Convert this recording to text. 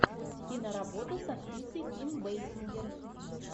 киноработа с актрисой ким бейсингер